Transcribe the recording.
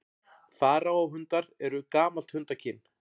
Faraó-hundar eru gamalt hundakyn.